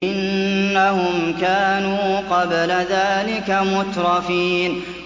إِنَّهُمْ كَانُوا قَبْلَ ذَٰلِكَ مُتْرَفِينَ